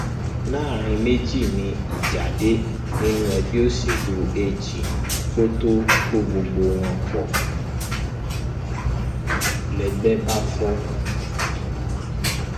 láàrin méjì ni ìjà dé nínú ẹgbẹ òṣèlú ag tó kó gbogbo wọn pó ń lẹgbẹ bá fọ